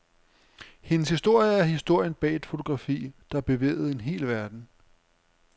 Hendes historie er historien bag et fotografi, der bevægede en hel verden.